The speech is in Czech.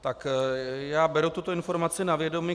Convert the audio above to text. Tak já beru tuto informaci na vědomí.